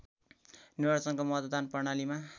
निर्वाचनको मतदान प्रणालीमा